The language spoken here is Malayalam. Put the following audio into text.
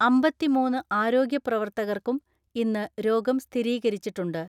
അമ്പതിമൂന്ന് ആരോഗ്യ പ്രവർത്തകർക്കും ഇന്ന് രോഗം സ്ഥിരീകരിച്ചിട്ടുണ്ട്.